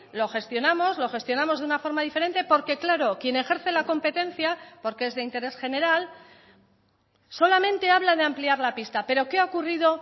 lo gestionamos lo gestionamos de una forma diferente porque claro quien ejerce la competencia porque es de interés general solamente habla de ampliar la pista pero qué ha ocurrido